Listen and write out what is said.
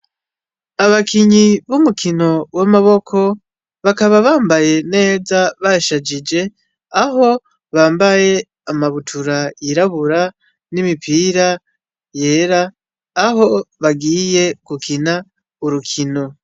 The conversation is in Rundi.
Abakinyi b'umukino w'amaboko bakaba bambaye neza bashajije. Aho bambaye amabutura yirabura n'imipira yera aho bagiye gukina urukino.